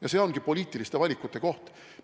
Ja see ongi poliitiliste valikute koht.